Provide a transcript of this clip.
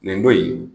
Nin ko in